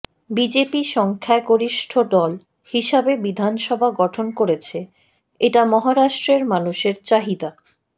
BJP সংখ্যাগরিষ্ঠ দল হিসাবে বিধানসভা গঠন করেছে এটা মহারাষ্ট্রের মানুষের চাহিদা